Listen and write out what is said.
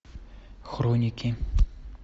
хроники